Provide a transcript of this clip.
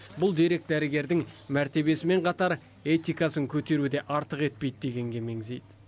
бұл дерек дәрігердің мәртебесімен қатар этикасын көтеру де артық етпейді дегенге мезейді